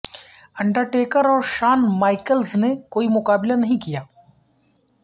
Undertaker اور Shawn Michaels نے کوئی مقابلہ نہیں کیا